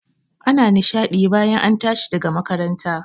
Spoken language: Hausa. Ana nishaɗi bayan an tashi daga makaranta